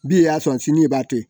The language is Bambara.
Bi e y'a sɔrɔ sini i b'a to